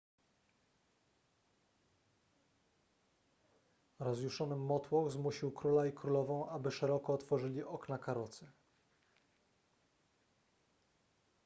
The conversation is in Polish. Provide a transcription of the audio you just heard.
rozjuszony motłoch zmusił króla i królową aby szeroko otworzyli okna karocy